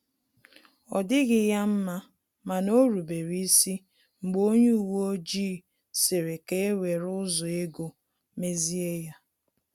Ọ dịghị ya mma mana orubere isi mgbe onye uwe ojii sịrị ka ewere ụzọ ego mezie ya